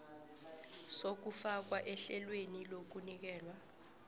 sokufakwa ehlelweni lokunikelwa